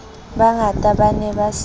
bangata ba ne ba se